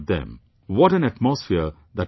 What an atmosphere that would create